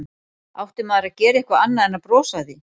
Átti maður að gera eitthvað annað en að brosa að því?